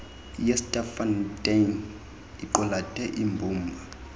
yesterkfontein iqulethe imbumba